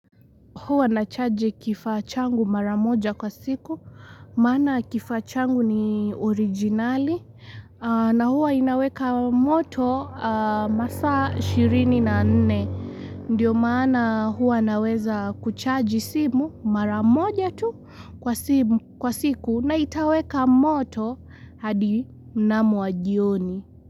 Huwa na charge kifaa changu maramoja kwa siku. Mana kifachangu ni orijinali. Na huwa inaweka moto masaa shirini na nne. Ndiyo mana huwa naweza kuchaji simu maramoja tu kwa siku na itaweka moto hadi mnamu wa jioni.